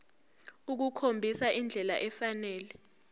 ukukhombisa indlela efanele